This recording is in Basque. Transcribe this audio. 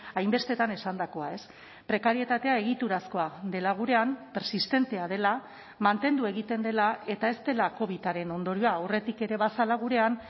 hainbestetan esandakoa prekarietatea egiturazkoa dela gurean persistentea dela mantendu egiten dela eta ez dela covidaren ondorioa aurretik ere bazela gurean